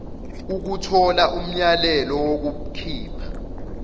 ukuthola umyalelo wokukhipha